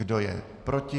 Kdo je proti?